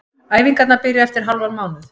Æfingarnar byrja eftir hálfan mánuð.